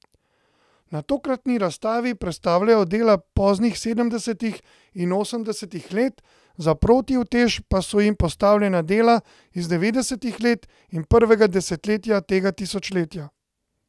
Na tokratni razstavi predstavljajo dela poznih sedemdesetih in osemdesetih let, za protiutež pa so jim postavljena dela iz devetdesetih let in prvega desetletja tega tisočletja.